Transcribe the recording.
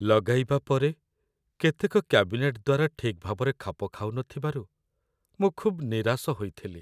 ଲଗାଇବା ପରେ କେତେକ କ୍ୟାବିନେଟ୍ ଦ୍ୱାର ଠିକ୍ ଭାବରେ ଖାପ ଖାଉନଥିବାରୁ ମୁଁ ଖୁବ୍ ନିରାଶ ହୋଇଥିଲି।